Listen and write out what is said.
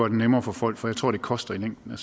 det nemmere for folk for jeg tror det koster i længden